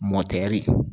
Mɔtɛri